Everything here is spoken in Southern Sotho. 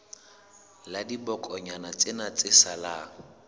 la dibokonyana tsena tse salang